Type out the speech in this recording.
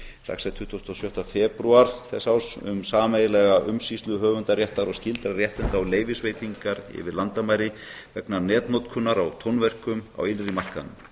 dagsett tuttugasta og sjötta febrúar þessa árs um sameiginlega umsýslu höfundaréttar og skyldra réttinda og leyfisveitingar yfir landamæri vegna netnotkunar á tónverkum á innri markaðnum